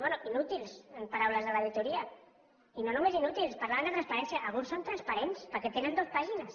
bé inútils en paraules de l’auditoria i no només inútils parlaven de transparència alguns són transparents perquè tenen dues pàgines